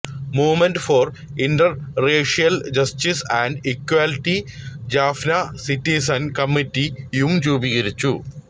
movement for interracial justice and equality Jaffna citizens കമ്മറ്റിയും രൂപീകരിച്ചു